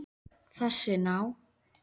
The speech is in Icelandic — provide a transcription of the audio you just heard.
Þessi ná